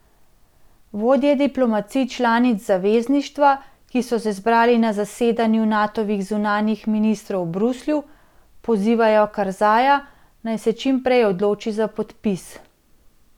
Vodje diplomacij članic zavezništva, ki so se zbrali na zasedanju Natovih zunanjih ministrov v Bruslju, pozivajo Karzaja, naj se čim prej odloči za podpis.